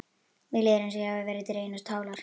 Mér líður eins og ég hafi verið dregin á tálar.